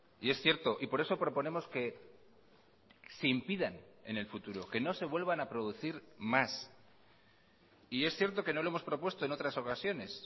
y es cierto y por eso proponemos que se impidan en el futuro que no se vuelvan a producir más y es cierto que no lo hemos propuesto en otras ocasiones